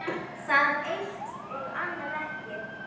Það eitt- og annað ekki.